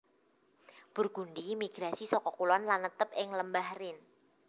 Burgundi migrasi saka kulon lan netep ing Lembah Rhine